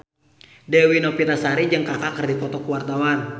Dewi Novitasari jeung Kaka keur dipoto ku wartawan